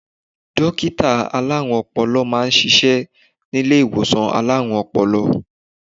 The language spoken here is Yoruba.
Dókítà alárùn-Ọpọlọ máa ń ṣiṣẹ́ nílé ìwòsàn alárùn-Ọpọlọ